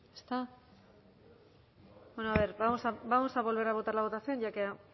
ezta bueno a ver vamos a volver a votar la votación ya que